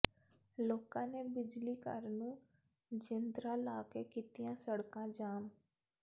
ਲੋਕਾਂ ਨੇ ਬਿਜਲੀ ਘਰ ਨੂੰ ਜਿੰਦਰਾ ਲਾ ਕੇ ਕੀਤੀਆਂ ਸੜਕਾਂ ਜਾਮ